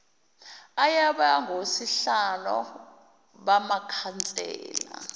ayoba ngosihlalo bamakhansela